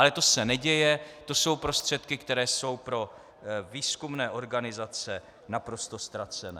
Ale to se neděje, to jsou prostředky, které jsou pro výzkumné organizace naprosto ztracené.